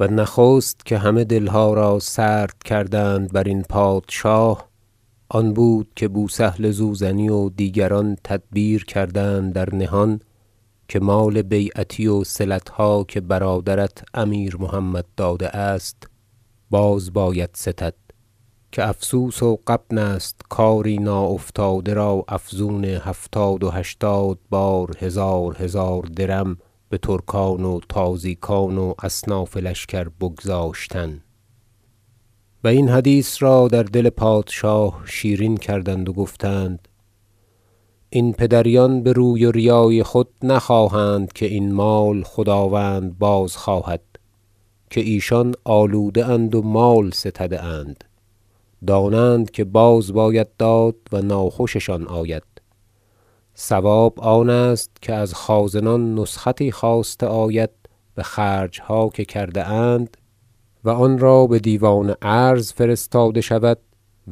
و نخست که همه دلها را سرد کردند برین پادشاه آن بود که بوسهل زوزنی و دیگران تدبیر کردند در نهان که مال بیعتی وصلتها که برادرت امیر محمد داده است باز باید ستد که افسوس و غبن است کاری ناافتاده را افزون هفتاد و هشتاد بار هزار هزار درم بترکان و تازیکان و اصناف لشکر بگذاشتن و این حدیث را در دل پادشاه شیرین کردند و گفتند این پدریان بروی وریای خود نخواهند که این مال خداوند بازخواهد که ایشان آلوده اند و مال ستده اند دانند که باز باید داد و ناخوششان آید صواب آن است که از خازنان نسختی خواسته آید بخرجها که کرده اند و آنرا بدیوان عرض فرستاده شود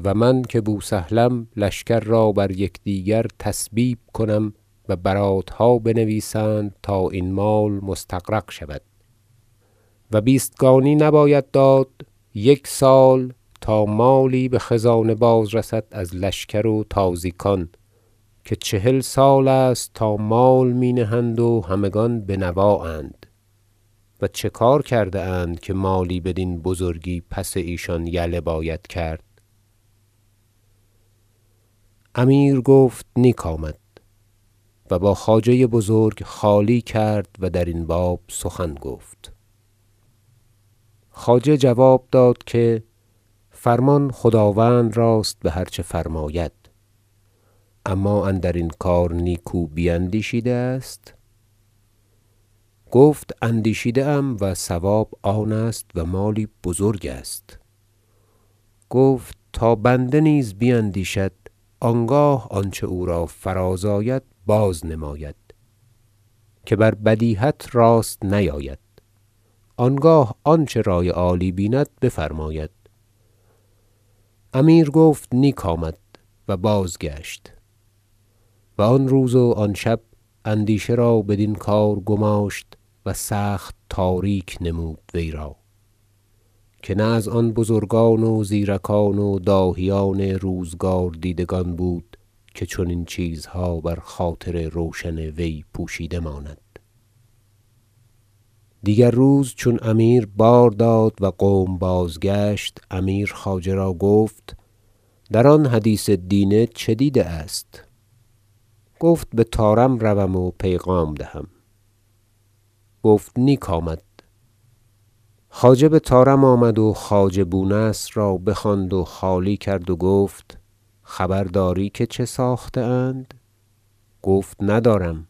و من که بوسهلم لشکر را بر یکدیگر تسبیب کنم و براتها بنویسند تا این مال مستغرق شود و بیستگانی نباید داد یک سال تا مالی بخزانه باز رسد از لشکر و تازیکان که چهل سال است تا مال می نهند و همگان بنوااند و چه کار کرده اند که مالی بدین بزرگی پس ایشان یله باید کرد امیر گفت نیک آمد و با خواجه بزرگ خالی کرد و درین باب سخن گفت خواجه جواب داد که فرمان خداوند راست بهر چه فرماید اما اندرین کار نیکو بیندیشیده است گفت اندیشیده ام و صواب آن است و مالی بزرگ است گفت تا بنده نیز بیندیشد آنگاه آنچه او را فراز آید بازنماید که بر بدیهت راست نیاید آنگاه آنچه رأی عالی بیند بفرماید امیر گفت نیک آمد و بازگشت و آن روز و آن شب اندیشه را بدین کار گماشت و سخت تاریک نمود وی را که نه از آن بزرگان و زیرکان و داهیان روزگار دیدگان بود که چنین چیزها بر خاطر روشن وی پوشیده ماند مشاوره امیر با وزیر در باب صلات دیگر روز چون امیر بار داد و قوم بازگشت امیر خواجه را گفت در آن حدیث دینه چه دیده است گفت بطارم روم و پیغام دهم گفت نیک آمد خواجه بطارم آمد و خواجه بو نصر را بخواند و خالی کرد و گفت خبر داری که چه ساخته اند گفت ندارم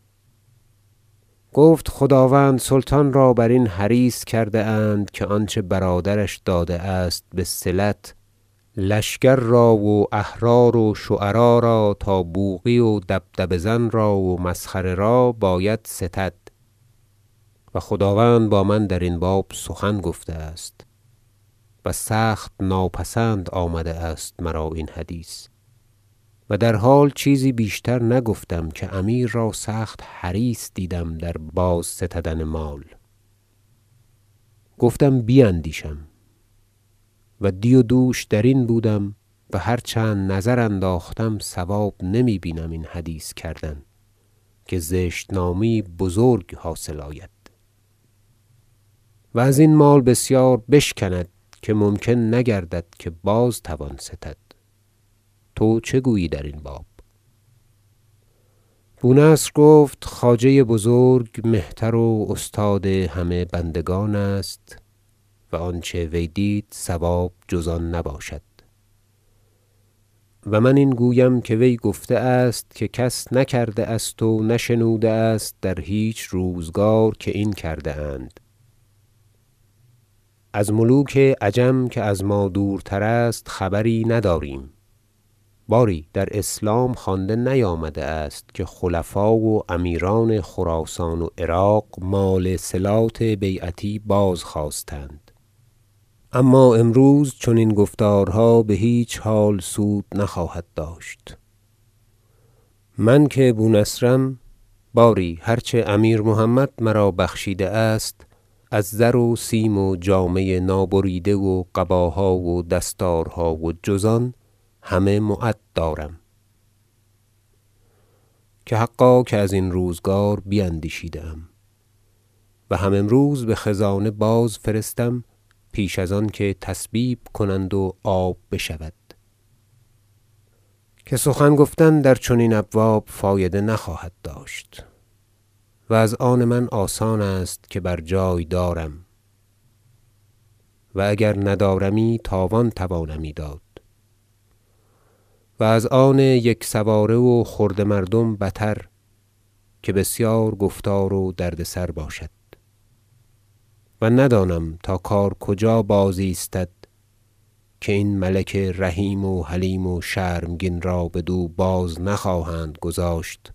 گفت خداوند سلطان را برین حریص کردند که آنچه برادرش داده است بصلت لشکر را و احرار و شعرا را تا بوقی و دبدبه زن را و مسخره را باید ستد و خداوند با من درین باب سخن گفته است و سخت ناپسند آمده است مرا این حدیث در حال چیزی بیشتر نگفتم که امیر را سخت حریص دیدم در باز ستدن مال بیندیشم ودی و دوش درین بودم و هر چند نظر انداختم صواب نمی بینم این حدیث کردن که زشت نامی یی بزرگ حاصل آید و ازین مال بسیار بشکند که ممکن نگردد که باز توان ستد تو چه گویی درین باب بو نصر گفت خواجه بزرگ مهتر و استاد همه بندگان است و آنچه وی دید صواب جز آن نباشد و من این گویم که وی گفته است که کس نکرده است و نشنوده است در هیچ روزگار که این کرده اند از ملوک عجم که از ما دورتر است خبری نداریم باری در اسلام خوانده نیامده است که خلفا و امیران خراسان و عراق مال صلات بیعتی بازخواستند اما امروز چنین گفتارها بهیچ حال سود نخواهد داشت من که بو نصرم باری هر چه امیر محمد مرا بخشیده است از زر و سیم و جامه نابریده و قباها و دستارها و جز آن همه معد دارم که حقا که ازین روزگار بیندیشیده ام و هم امروز بخزانه بازفرستم پیش از آنکه تسبیب کنند و آب بشود که سخن گفتن در چنین ابواب فایده نخواهد داشت و از آن من آسان است که بر جای دارم و اگر ندارمی تاوان توانمی داد و از آن یکسواره و خرده مردم بتر که بسیار گفتار و دردسر باشد و ندانم تا کار کجا بازایستد که این ملک رحیم و حلیم و شرمگین را بدو باز نخواهند گذاشت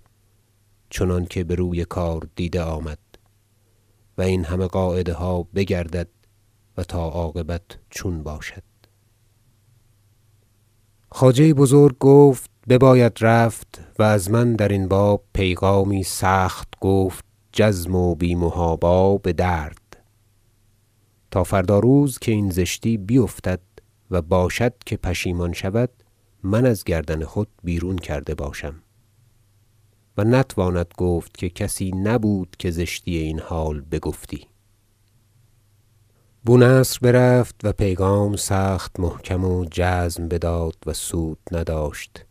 چنانکه بروی کار دیده آمد و این همه قاعده ها بگردد و تا عاقبت چون باشد خواجه بزرگ گفت بباید رفت و از من درین باب پیغامی سخت گفت جزم و بی محابا بدرد تا فردا روز که این زشتی بیفتد و باشد که پشیمان شود من از گردن خود بیرون کرده باشم و نتواند گفت که کسی نبود که زشتی این حال بگفتی بو نصر برفت و پیغام سخت محکم و جزم بداد و سود نداشت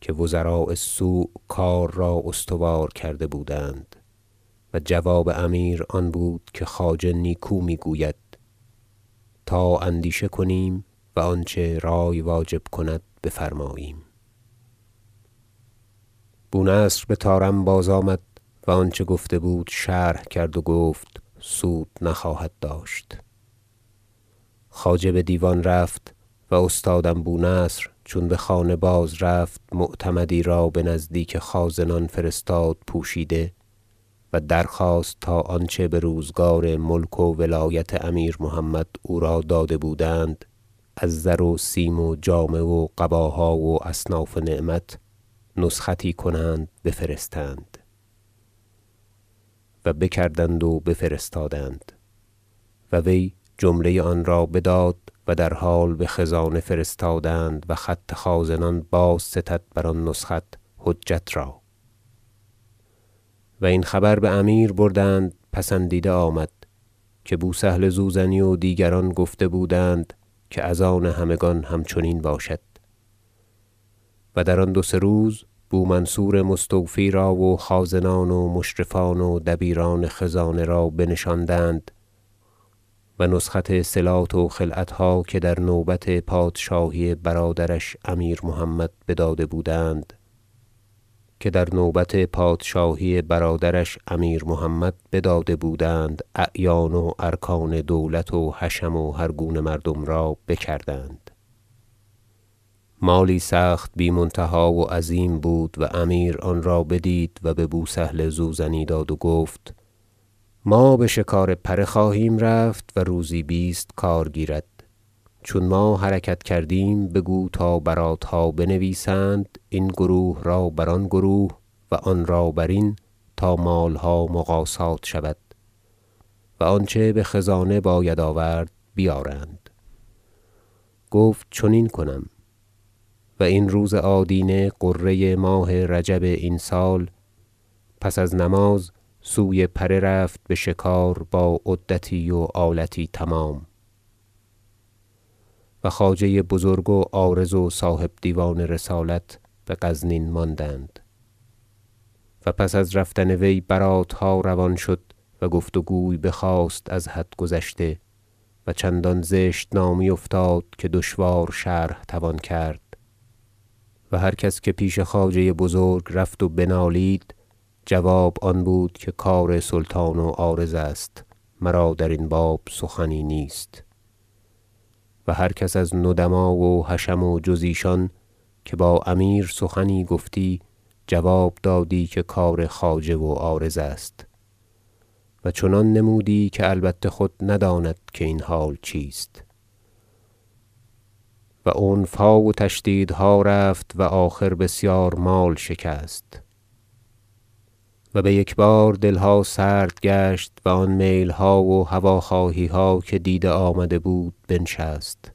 که وزراء السوء کار را استوار کرده بودند و جواب امیر آن بود که خواجه نیکو می گوید تا اندیشه کنیم و آنچه رأی واجب کند بفرماییم بو نصر بطارم بازآمد و آنچه گفته بود شرح کرد و گفت سود نخواهد داشت مطالبه صلات بیعتی خواجه بدیوان رفت و استادم بو نصر چون بخانه بازرفت معتمدی را بنزدیک خازنان فرستاد پوشیده و درخواست تا آنچه بروزگار ملک و ولایت امیر محمد او را داده بودند از زر و سیم و جامه و قباها و اصناف نعمت نسختی کنند بفرستند و بکردند و بفرستادند و وی جمله آنرا بداد و در حال بخزانه فرستادند و خط خازنان بازستد بر آن نسخت حجت را و این خبر بامیر بردند پسندیده آمد که بو سهل زوزنی و دیگران گفته بودند که از آن همگان همچنین باشد و در آن دو سه روز بو منصور مستوفی را و خازنان و مشرفان و دبیران خزانه را بنشاندند و نسخت صلات و خلعتها که در نوبت پادشاهی برادرش امیر محمد بداده بودند اعیان و ارکان دولت و حشم و هر گونه مردم را بکردند مالی سخت بی منتها و عظیم بود و امیر آن را بدید و ببو سهل زوزنی داد و گفت ما بشکار پره خواهیم رفت و روزی بیست کار گیرد چون ما حرکت کردیم بگو تا براتها بنویسند این گروه را بر آن گروه و آن را برین تا مالها مقاصات شود و آنچه بخزانه باید آورد بیارند گفت چنین کنم و این روز آدینه غره ماه رجب این سال پس از نماز سوی پره رفت بشکار با عدتی و آلتی تمام و خواجه بزرگ و عارض و صاحب دیوان رسالت بغزنین ماندند و پس از رفتن وی براتها روان شد و گفت و گوی بخاست از حد گذشته و چندان زشت نامی افتاد که دشوار شرح توان کرد و هر کس که پیش خواجه بزرگ رفت و بنالید جواب آن بود که کار سلطان و عارض است مرا درین باب سخنی نیست و هر کس از ندما و حشم و جز ایشان که با امیر سخنی گفتی جواب دادی که کار خواجه و عارض است و چنان نمودی که البته خود نداند که این حال چیست و عنفها و تشدیدها رفت و آخر بسیار مال شکست و بیکبار دلها سرد گشت و آن میلها و هواخواهیها که دیده آمده بود بنشست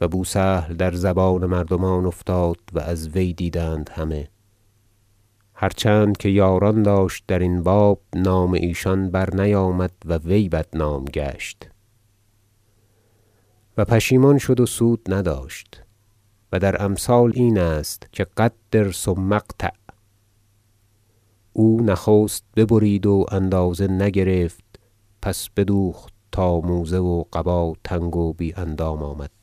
و بو سهل در زبان مردمان افتاد و از وی دیدند همه هر چند که یاران داشت درین باب نام ایشان برنیامد و وی بدنام گشت و پشیمان شد و سود نداشت و در امثال این است که قدر ثم اقطع او نخست ببرید و اندازه نگرفت پس بدوخت تا موزه و قبا تنگ و بی اندام آمد